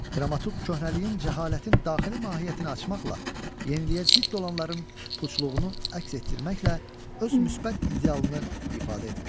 Dramaturq köhnəliyin, cəhalətin daxili mahiyyətini açmaqla, yeniliyə zidd olanların puçluğunu əks etdirməklə öz müsbət idealını ifadə etmişdir.